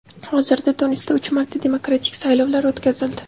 Hozirda Tunisda uch marta demokratik saylovlar o‘tkazildi.